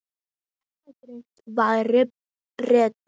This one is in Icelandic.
Þetta gerist varla betra.